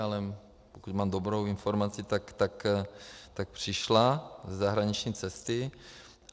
Ale pokud mám dobrou informaci, tak přišla ze zahraniční cesty.